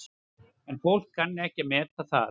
En fólk kann ekki að meta það.